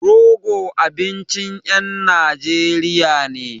Rogo abincin ƴan Najeriya ne.